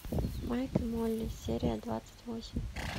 майк и молли серия двадцать восемь